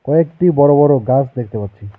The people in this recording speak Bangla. কয়েকটি বড় বড় গাছ দেখতে পাচ্ছি।